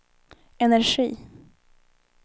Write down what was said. energi